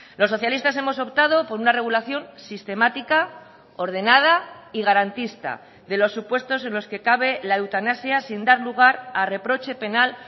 los socialistas hemos optado por una regulación sistemática ordenada y garantista de los supuestos en los que cabe la eutanasia sin dar lugar a reproche penal